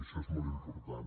això és molt important